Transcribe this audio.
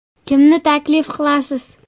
Kimni taklif qilasiz?